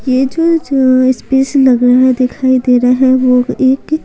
ये जो जो स्पेस लग रहा है दिखाई दे रहा है वो एक --